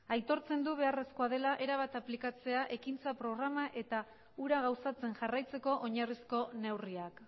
aitortzen du beharrezkoa dela erabat aplikatzen ekintza programa eta hura gauzatzen jarraitzeko oinarrizko neurriak